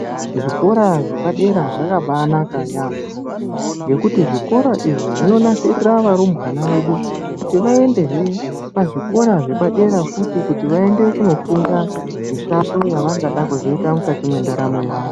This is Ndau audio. Zvikora zvapadera zvakambanaka yaambo nekuti zvikora izvi zvinonasirira varumbwana vedu kuti vaendehe kuzvikora zvapadera futi kuti vandofunda mishando yavangada kuzoita mukati mwendaramo yavo.